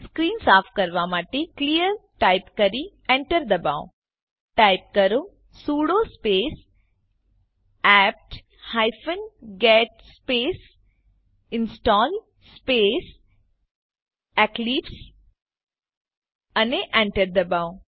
screen સાફ કરવા માટે ક્લિયર ટાઈપ કરી એન્ટર દબાવો ટાઈપ કરો sudo space APT hyphen get space install space Eclipse અને એન્ટર દબાવો